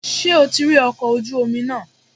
Ṣé o ti rí ọkọ̀ ojú omi náà?